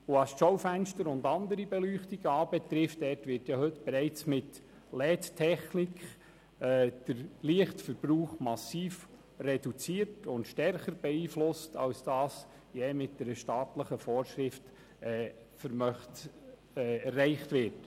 Bei den Schaufenstern und anderen Beleuchtungen wird der Lichtverbrauch bereits heute mit LED-Technik massiv reduziert und stärker beeinflusst, als dies je durch eine staatliche Vorschrift erreicht wird.